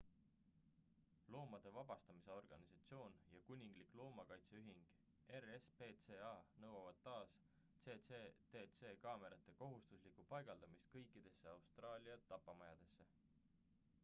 loomade vabastamise organisatsioon ja kuninglik loomakaitseühing rspca nõuavad taas cctc kaamerate kohustuslikku paigaldamist kõikidesse austraalia tapamajadesse